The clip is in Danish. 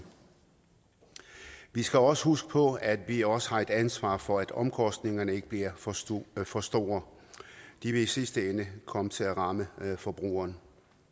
vi skal også huske på at vi også har et ansvar for at omkostningerne ikke bliver for store for store de vil i sidste ende komme til at ramme forbrugeren